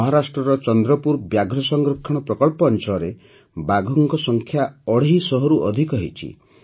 ମହାରାଷ୍ଟ୍ରର ଚନ୍ଦ୍ରପୁର ବ୍ୟାଘ୍ର ସଂରକ୍ଷଣ ପ୍ରକଳ୍ପ ଅଞ୍ଚଳରେ ବାଘଙ୍କ ସଂଖ୍ୟା ଅଢ଼େଇ ଶହରୁ ଅଧିକ ହୋଇଛି